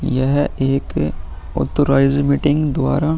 यह एक authorize meeting द्वारा --